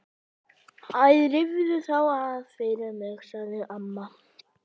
Æ rífðu þá af fyrir mig sagði amma.